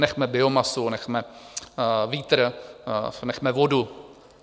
Nechme biomasu, nechme vítr, nechme vodu.